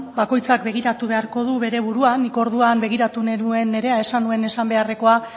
bakoitzak begiratu beharko du bere buruan nik orduan begiratu nuen nirea esan nuen esan beharrekoa